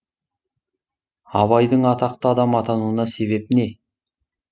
абайдың атақты адам атануына себеп не